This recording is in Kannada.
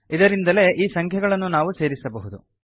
ಇದರಿಂದಲೇ ಈ ಸಂಖ್ಯೆಗಳನ್ನು ನಾವು ಸೇರಿಸಬಹುದು